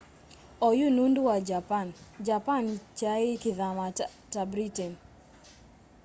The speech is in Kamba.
oyu undu wa japan japan kyai kithama ta britain